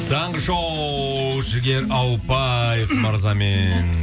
таңғы шоу жігер ауыпбаев мырзамен